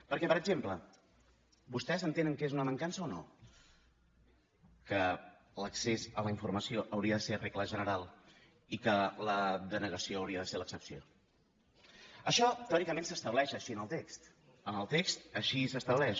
perquè per exemple vostès entenen que és una mancança o no que l’accés a la informació hauria de ser regla general i que la denegació hauria de ser l’excepció això teòricament s’estableix així en el text en el text així s’estableix